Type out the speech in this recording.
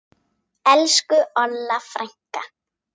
Elsku Olla frænka.